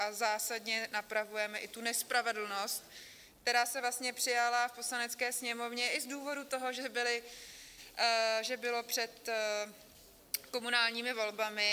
A zásadně napravujeme i tu nespravedlnost, která se vlastně přijala v Poslanecké sněmovně i z důvodu toho, že bylo před komunálními volbami.